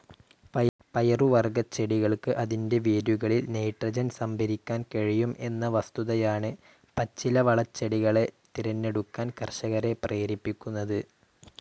പയറുവർഗച്ചെടികൾക്ക് അതിന്റെ വേരുകളിൽ നൈട്രോജൻ സംഭരിക്കാൻ കഴിയും എന്ന വസ്തുതയാണ് പച്ചിലവളച്ചെടികളെ തിരഞ്ഞെടുക്കാൻ കർഷകരെ പ്രേരിപ്പിക്കുന്നത്.